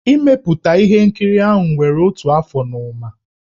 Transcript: Ị mepụta ihe nkiri ahụ were otu afọ na ụma.